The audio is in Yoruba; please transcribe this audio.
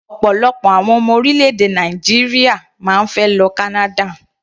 Ọ̀pọ̀lọpọ̀ àwọn ọmọ orílẹ̀-èdè Nàìjíríà máa ń fẹ́ lọ Canada.